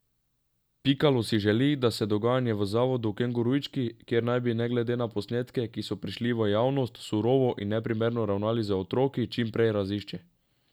Pikalo si želi, da se dogajanje v zavodu Kengurujčki, kjer naj bi glede na posnetke, ki so prišli v javnost, surovo in neprimerno ravnali z otroki, čim prej razišče.